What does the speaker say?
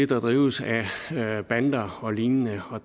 drives af bander og lignende og